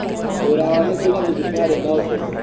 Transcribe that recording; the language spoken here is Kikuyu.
Wĩra wao nĩ kũiga thibitarĩ na ũtheru